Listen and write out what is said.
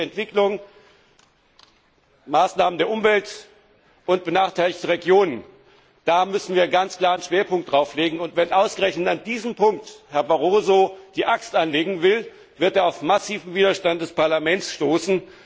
Ländliche Entwicklung, Maßnahmen für die Umwelt und benachteiligte Regionen darauf müssen wir ganz klar einen Schwerpunkt legen. Wenn ausgerechnet an diesem Punkt Herr Barroso die Axt anlegen will, wird er auf massiven Widerstand des Parlaments stoßen.